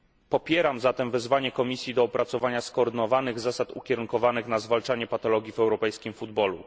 Popieram zatem wezwanie Komisji do opracowania skoordynowanych zasad ukierunkowanych na zwalczanie patologii w europejskim futbolu.